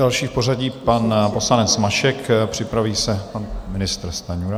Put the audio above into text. Další v pořadí pan poslanec Mašek, připraví se pan ministr Stanjura.